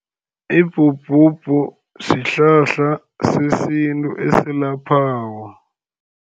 Ibhubhubhu sihlahla sesintu esilaphako.